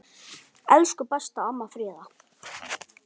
Elsku besta amma Fríða.